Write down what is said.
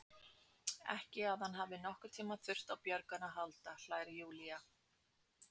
Ekki að hann hafi nokkurn tíma þurft á björgun að halda, hlær Júlía.